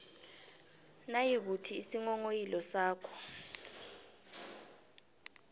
nayikuthi isinghonghoyilo sakho